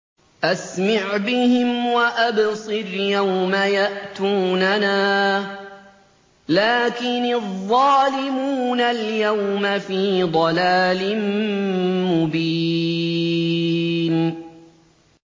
أَسْمِعْ بِهِمْ وَأَبْصِرْ يَوْمَ يَأْتُونَنَا ۖ لَٰكِنِ الظَّالِمُونَ الْيَوْمَ فِي ضَلَالٍ مُّبِينٍ